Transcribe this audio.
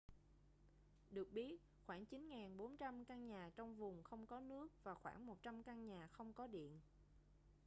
được biết khoảng 9400 căn nhà trong vùng không có nước và khoảng 100 căn nhà không có điện